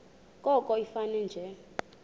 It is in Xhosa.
koko ifane nje